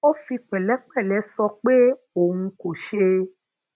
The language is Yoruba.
ó fi pèlépèlé sọ pé òun kò se